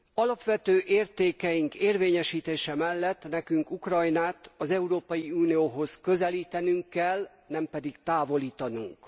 Alapvető értékeink érvényesítése mellett nekünk Ukrajnát az Európai Unióhoz közelítenünk kell, nem pedig távolítanunk.